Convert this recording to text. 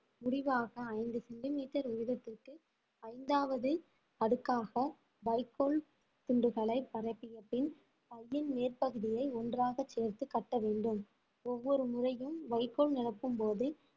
முடிவாக ஐந்து சென்டிமீட்டர் உயரத்திற்கு ஐந்தாவது அடுக்காக வைக்கோல் துண்டுகளை பரப்பிய பின் பையின் மேற்பகுதியை ஒன்றாக சேர்த்து கட்ட வேண்டும் ஒவ்வொரு முறையும் வைக்கோல் நிரப்பும்போது